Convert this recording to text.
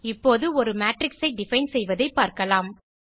இப்போது ஒரு மேட்ரிக்ஸ் ஐ டிஃபைன் செய்வதைப்பார்க்கலாம்